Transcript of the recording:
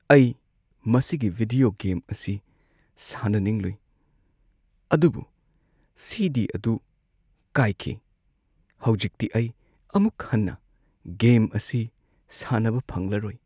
ꯑꯩ ꯃꯁꯤꯒꯤ video game ꯑꯁꯤ ꯁꯥꯟꯅꯅꯤꯡꯂꯨꯏ ꯑꯗꯨꯕꯨ ꯁꯤ. ꯗꯤ. ꯑꯗꯨ ꯀꯥꯏꯈꯤ꯫ ꯍꯧꯖꯤꯛꯇꯤ ꯑꯩ ꯑꯃꯨꯛ ꯍꯟꯅ ꯒꯦꯝ ꯑꯁꯤ ꯁꯥꯟꯅꯕ ꯐꯪꯂꯔꯣꯏ꯫